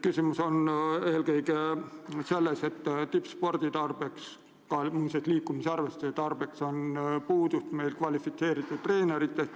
Küsimus on eelkõige selles, et nii tippspordi kui liikumisharrastuste edendamiseks on meil puudus kvalifitseeritud treeneritest.